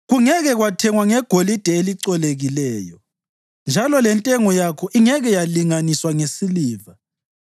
Kungeke kwathengwa ngegolide elicolekileyo, njalo lentengo yakho ingeke yalinganiswa ngesiliva.